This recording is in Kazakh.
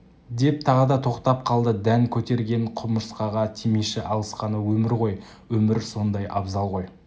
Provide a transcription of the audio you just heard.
деп тағы да тоқтап қалды дән көтерген құмырсқаға тимеші алысқаны өмір ғой өмір сондай абзал ғой